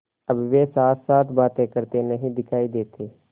अब वे साथसाथ बातें करते नहीं दिखायी देते